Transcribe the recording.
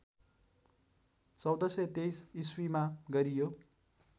१४२३ इस्वीमा गरियो